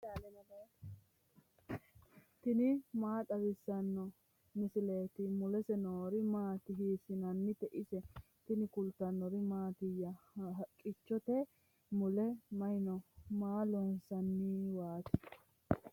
tini maa xawissanno misileeti ? mulese noori maati ? hiissinannite ise ? tini kultannori mattiya? haqqichchotte mule may noo? Maa loonsaniwaatti?